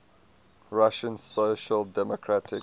russian social democratic